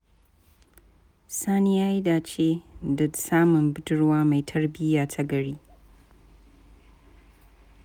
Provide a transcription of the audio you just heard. Sani ya yi dace da samun budurwa mai tarbiyya ta gari.